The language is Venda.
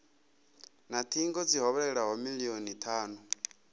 na thingo dzi hovhelelaho milioni thanu